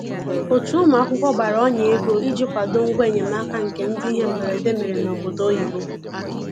Otu ụmụ akwụkwọ gbara ọnya ego iji kwado ngwa enyemaka nke ndị ihe mberede mere n'obodo oyibo